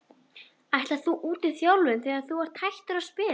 Ætlarðu út í þjálfun þegar að þú hættir að spila?